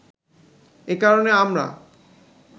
এ কারণে আমরা